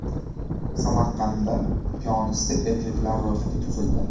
Samarqandda piyonista erkaklar ro‘yxati tuzildi.